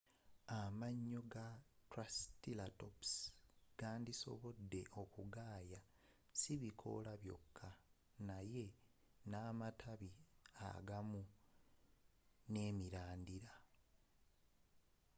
amayo ga triceratops gandisobode okugaaya sibikoola byoka naye namatabi amagumu nemirandira